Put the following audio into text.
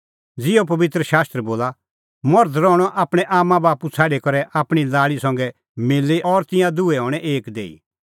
ज़िहअ पबित्र शास्त्र बोला मर्ध रहणअ आपणैं आम्मांबाप्पू छ़ाडी करै आपणीं लाल़ी संघै मिली और तिंयां दुहै हणैं एक देही